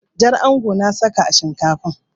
Jar onga na saka a shinkafan.